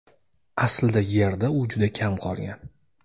aslida Yerda u juda kam qolgan.